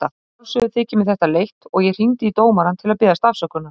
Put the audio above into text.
Að sjálfsögðu þykir mér þetta leitt og ég hringdi í dómarann til að biðjast afsökunar.